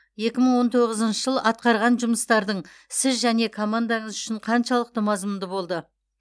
екі мың он тоғызыншы жыл атқарған жұмыстардың сіз және командаңыз үшін қаншалықты мазмұнды болды